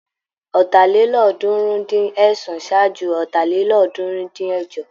Ọ̀tàlélọ́ọ̀ọ́dúnrún-dín-ẹ̀sán ṣájú Ọ̀tàlélọ́ọ̀ọ́dúnrún-dín-ẹ̀jọ.